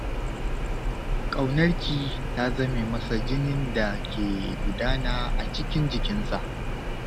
Ƙaunarki ta zame masa jinin da ke gudana a cikin jikinsa.